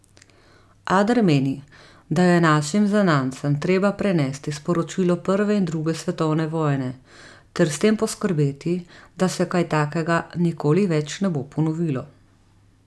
Ader meni, da je našim zanamcem treba prenesti sporočilo prve in druge svetovne vojne ter s tem poskrbeti, da se kaj takega nikoli več ne bo ponovilo.